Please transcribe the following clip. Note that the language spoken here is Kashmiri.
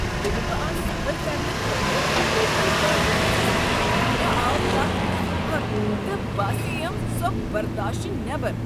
ییٚلہ بہٕ آز سفر کرنہٕ خٲطرٕ لوکل گاڑِ کھٔژٕس مےٚ آو تتھ منٛز پھکھ تہٕ باسییم سۄ برداشہٕ نیبر۔